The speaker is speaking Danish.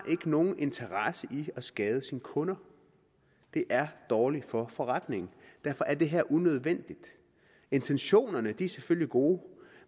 nogen interesse i at skade sine kunder det er dårligt for forretningen derfor er det her forslag unødvendigt intentionerne er selvfølgelig gode